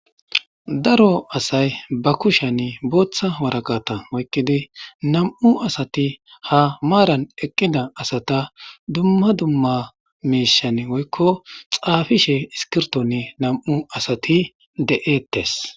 daro asay ba kushiyanni booththa waraqata oykkidi nam7u asati ha maaran eqqida asata dumma dumma meishanni woykko xaafishe iskirtonni nam7u asati de7eettes